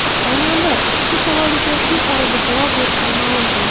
Xonanda ushbu savolga tez orada javob berishini ma’lum qildi.